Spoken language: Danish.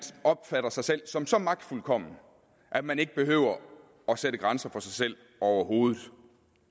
opfatter sig selv som så magtfuldkommen at man ikke behøver at sætte grænser for sig selv overhovedet